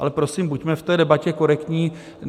Ale, prosím, buďme v té debatě korektní.